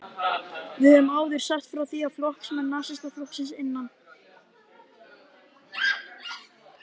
Við höfum áður sagt frá því, að flokksmenn Nasistaflokksins innan